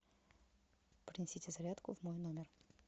принесите зарядку в мой номер